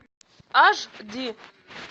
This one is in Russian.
аш ди